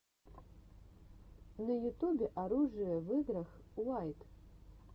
на ютубе оружие в играх уайт